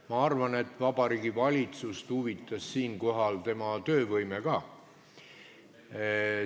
Ma arvan, et Vabariigi Valitsust huvitas siinkohal tema töövõime ka.